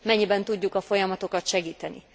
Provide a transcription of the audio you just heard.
Mennyiben tudjuk a folyamatokat segíteni?